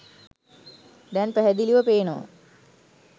දැන් පැහැදිලිව පේනවා.